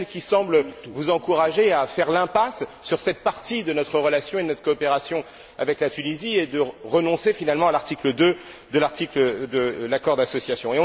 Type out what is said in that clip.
Michel, qui semblent vous encourager à faire l'impasse sur cette partie de notre relation et de notre coopération avec la Tunisie, et de renoncer finalement à l'article 2 de l'accord d'association.